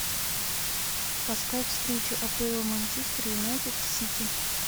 поставь встречу апл манчестер юнайтед с сити